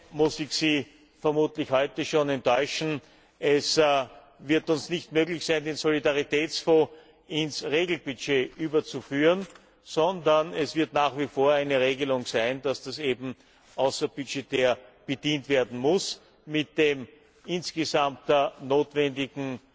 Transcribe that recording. In einem muss ich Sie vermutlich heute schon enttäuschen Es wird uns nicht möglich sein, den Solidaritätsfonds ins Regelbudget zu überführen, sondern es wird nach wie vor eine Regelung sein, dass das außerbudgetär bedient werden muss, mit dem insgesamt notwendigen